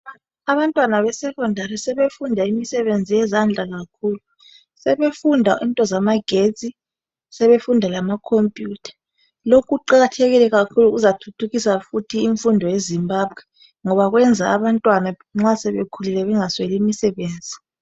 Abantwana be 'secondary ' sebefunda imisebenzi yezandla kakhulu. Sebefunda into zamagetsi, sebefunda lamakhophiyutha. Lokhu kuqakathekile kakhulu kuzathuthukisa fithi imfundo ye Zimbabwe. Ngoba kuyenza abantwana nxa sebekhulile bengasweli imsebenzi.